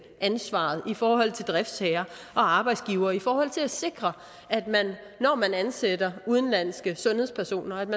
ansvaret i forhold til driftsherrer og arbejdsgivere altså i forhold til at sikre at man når man ansætter udenlandske sundhedspersoner